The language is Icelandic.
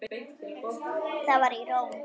Það var í Róm.